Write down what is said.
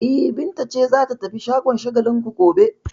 E, Binta ce za ta tafi shagon Shagalinku gobe.